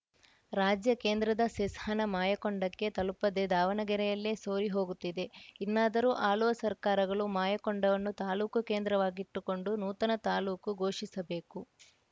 ರಾಜ್ಯ ಕೇಂದ್ರದ ಸೆಸ್‌ ಹಣ ಮಾಯಕೊಂಡಕ್ಕೆ ತಲುಪದೇ ದಾವಣಗೆರೆಯಲ್ಲೇ ಸೋರಿ ಹೋಗುತ್ತಿದೆ ಇನ್ನಾದರೂ ಆಳುವ ಸರ್ಕಾರಗಳು ಮಾಯಕೊಂಡವನ್ನು ತಾಲೂಕು ಕೇಂದ್ರವಾಗಿಟ್ಟುಕೊಂಡು ನೂತನ ತಾಲೂಕು ಘೋಷಿಸ ಬೇಕು